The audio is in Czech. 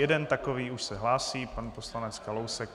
Jeden takový už se hlásí - pan poslanec Kalousek.